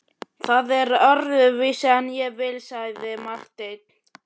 Það er öðruvísi en ég vil, sagði Marteinn.